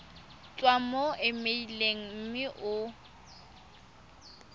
tswa mo emeileng mme o